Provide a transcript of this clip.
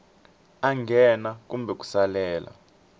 a nghena kumbe ku salela